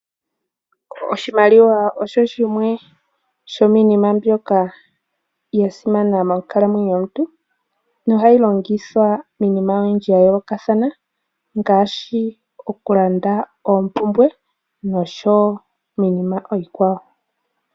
Oshimaliwa osho shimwe shominima mbyoka yasimana monkalamwenyo yomuntu nohayi longithwa iinima oyindji ya yoolokathana ngaashi okulanda oompumbwe niinima iikwawo.